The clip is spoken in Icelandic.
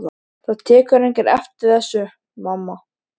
Það tekur enginn eftir þessu, mamma.